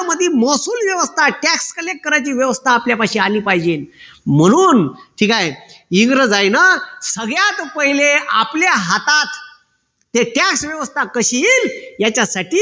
मधी महसूल व्यवस्था tax collect करायची व्यवस्था आपल्यापाशी आली पाहिजे म्हणून ठीक आहे इंग्रजायीन सगळ्यात पहिले आपल्या हातात ते tax व्यवस्था कशी येईल याच्यासाठी